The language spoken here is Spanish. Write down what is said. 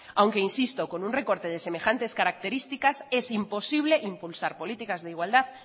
aunque insisto con un recorte de semejantes características es imposible impulsar políticas de igualdad